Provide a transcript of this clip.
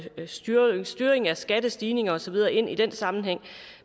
styringen styringen af skattestigninger og så videre ind i den sammenhæng